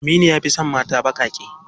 Aminu ya fi son mata baƙaƙe.